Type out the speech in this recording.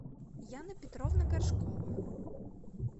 яна петровна горшкова